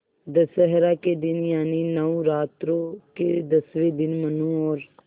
दशहरा के दिन यानि नौरात्रों के दसवें दिन मनु और